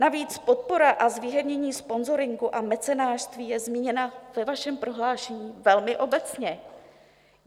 Navíc podpora a zvýhodnění sponzoringu a mecenášství je zmíněna ve vašem prohlášení velmi obecně.